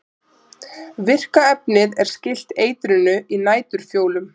Virka efnið er skylt eitrinu í næturfjólum.